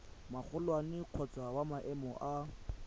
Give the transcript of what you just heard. magolwane kgotsa wa maemo a